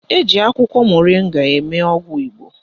Eji akwụkwọ moringa eme ọgwụ Igbo